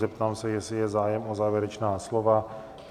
Zeptám se, jestli je zájem o závěrečná slova.